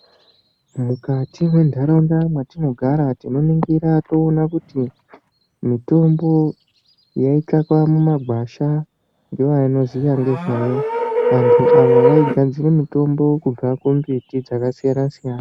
Mukati mwentaraunda dzatinogara tinoningira toona kuti mitombo yaitsvakwa mumagwasha nevanoziya ngezvayo, vantu ava vaigadzira mitombo kubva kumbiti dzakasiyana-siyana.